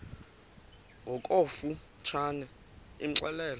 ngokofu tshane imxelele